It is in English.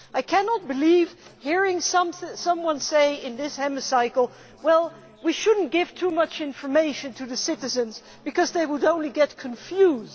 I cannot believe that I have heard someone say in this Hemicycle well, we should not give too much information to the citizens because they would only get confused'.